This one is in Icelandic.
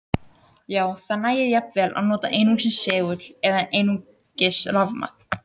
Já, það nægir jafnvel að nota einungis segul eða einungis rafmagn.